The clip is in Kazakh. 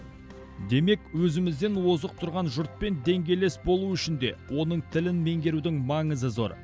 демек өзімізден озық тұрған жұртпен деңгейлес болу үшін де оның тілін меңгерудің маңызы зор